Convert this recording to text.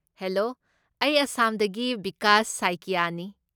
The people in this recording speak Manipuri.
ꯍꯦꯂꯣ! ꯑꯩ ꯑꯥꯁꯥꯝꯗꯒꯤ ꯕꯤꯀꯥꯁ ꯁꯥꯏꯀꯤꯑꯥꯅꯤ꯫